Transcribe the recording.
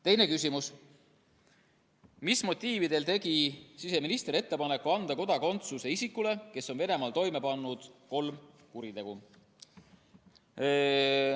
Teine küsimus on selle kohta, mis motiividel tegi siseminister ettepaneku anda kodakondsus isikule, kes on Venemaal toime pannud kolm kuritegu.